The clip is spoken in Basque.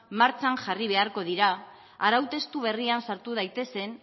martxan jarri beharko dira arau testu berrian sartu daitezen